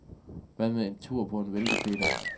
Hvad med en tur på en væltepeter?